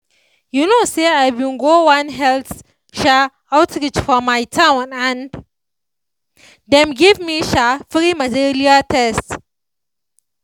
you know se i bin go one health um outreach for my town and dem give me um free malaria test.